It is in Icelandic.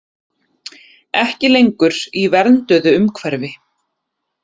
Ekki lengur í vernduðu umhverfi